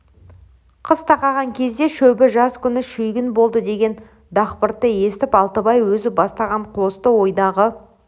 қыс тақаған кезде шөбі жаз күні шүйгін болды деген дақпыртты естіп алтыбай өзі бастаған қосты ойдағы